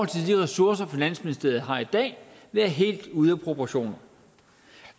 til de ressourcer finansministeriet har i dag være helt ude af proportioner